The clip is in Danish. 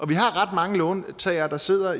vi har ret mange låntagere der sidder